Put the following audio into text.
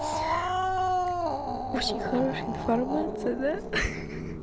очень хорошая информация да хи-хи